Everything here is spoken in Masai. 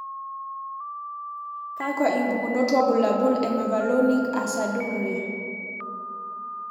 Kakwa impukunot wobulabul e Mevalonic aciduria?